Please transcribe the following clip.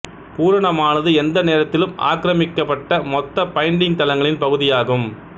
பூரணமானது எந்த நேரத்திலும் ஆக்கிரமிக்கப்பட்ட மொத்த பைண்டிங் தளங்களின் பகுதியாகும்